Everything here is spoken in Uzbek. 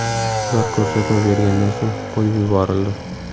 Ular ko‘rsatma bergandan so‘ng qo‘yib yuborildi.